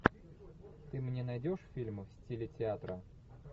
ты мне найдешь фильмы в стиле театра